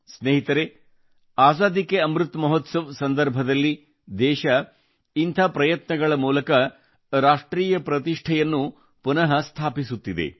ಸ್ನೇಹಿತರೆ ಆಜಾದಿ ಕೆ ಅಮೃತ್ ಮಹೋತ್ಸವದ ಸಂದರ್ಭದಲ್ಲಿ ದೇಶ ಇಂಥ ಪ್ರಯತ್ನಗಳ ಮೂಲಕ ರಾಷ್ಟ್ರೀಯ ಪ್ರತಿಷ್ಠೆಯನ್ನು ಪುನಃ ಪ್ರತಿಸ್ಥಾಪಿಸುತ್ತಿದೆ